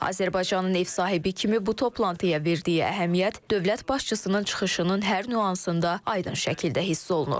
Azərbaycanın ev sahibi kimi bu toplantıya verdiyi əhəmiyyət dövlət başçısının çıxışının hər nüansında aydın şəkildə hiss olunur.